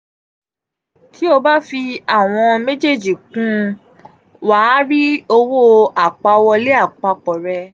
ti o ba fi awọn mejeeji kun un wa a ri owo apawọlé apapọ̀ rẹ.